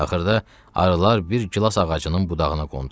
Axırda arılar bir gilas ağacının budağına qondular.